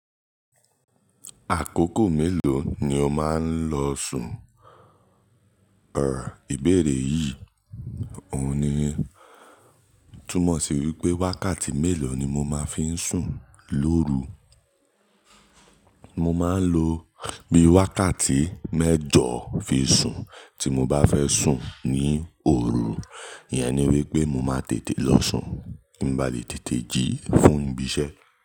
Àkókò mélòó ni o máa ń lọ sùn? Ọ̀rò ìbéèrè yìí, òun ni túmọ̀ sí wípé wákàtí mélòó ni mo máa ń fi sùn lóru. Mo máa ń lo bí i wákàtí mẹ́jọ fi sùn tí mo bá fẹ́ sùn ní òru. Ìyẹn ni wípé mo máa tètè lọ sùn bí mo bá le tètè jí fún ibi iṣẹ́